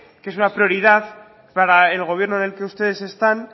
que es una prioridad para el gobierno en el que ustedes están